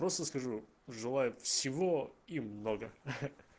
просто скажу желаю всего и много